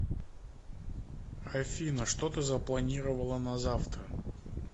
афина что ты запланировала на завтра